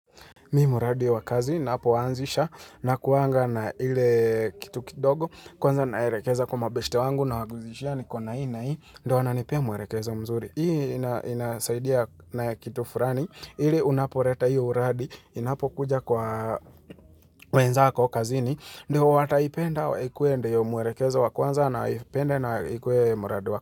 Mi muradi wa kazi napo wanzisha nakuwanga na ile kitu kidogo kwanza naerekeza kwa mabeste wangu na waguzishia nikona hii na hii ndowana nipea mwerekeza mzuri Hii inasaidia na kitu furani ili unaporeta hii uradi inapo kuja kwa wenzako kazini ndiowata ipenda wa ikuende yu mwerekeza wakwanza na ipende na ikuwe mradi wa.